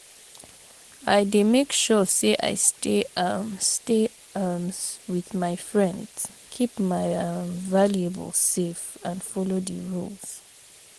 i dey make sure say i stay um stay um with my friends, keep my um valuables safe and follow di rules.